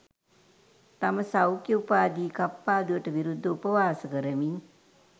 සම සෞඛ්‍ය උපාධි කප්පාදුවට විරුද්ධව උපවාස කරමින්